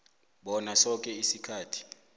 bona soke isikhathi